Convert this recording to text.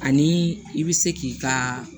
Ani i bɛ se k'i ka